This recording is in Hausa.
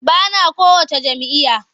Ba na kowacce jam'iyya.